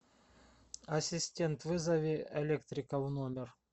ассистент вызови электрика в номер